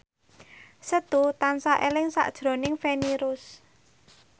Setu tansah eling sakjroning Feni Rose